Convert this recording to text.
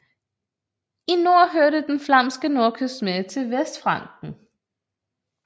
I nord hørte den flamske nordkyst med til Vestfranken